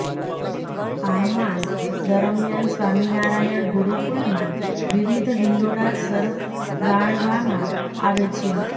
આ માસ દરમિયાન સ્વામિનારાયણ ગુરૂકુલમાં વિવિધ હિંડોળા શરગારવામા આવે છે